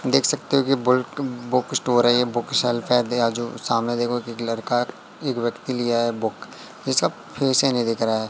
देख सकते हो कि बुल्क बुक स्टोर है ये बुक शेल्फ है। सामने देखो एक एक लड़का एक व्यक्ति लिया है बुक जिसका फेस ही नहीं दिख रहा है।